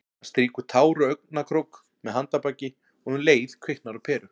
Hann strýkur tár úr augnakrók með handarbaki- og um leið kviknar á peru.